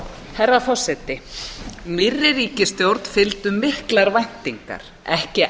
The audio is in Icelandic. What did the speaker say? herra forseti nýrri ríkisstjórn fylgdu miklar væntingar ekki